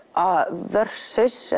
versus